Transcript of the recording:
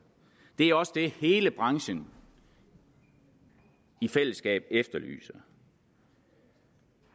det er også det hele branchen i fællesskab efterlyser